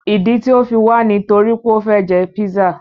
Ìdí tí o fi wà ní nítorí pé o fẹ jẹ pízzà.